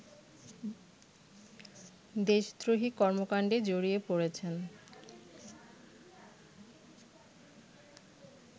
দেশদ্রোহী কর্মকাণ্ডে জড়িয়ে পড়েছেন